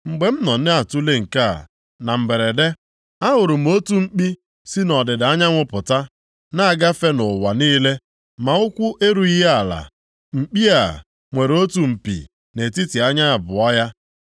Mgbe m nọ na-atule nke a, na mberede ahụrụ m otu mkpi si nʼọdịda anyanwụ pụta, na-agafe ụwa niile ma ụkwụ erughị ya ala. Mkpi a, nwere otu mpi nʼetiti anya abụọ ya.